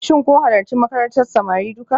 Shin kun halarci makarantar samari duka?